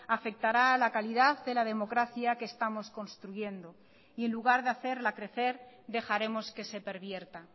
afectará a la calidad de la democracia que estamos construyendo y en lugar de hacerla crecer dejaremos que se pervierta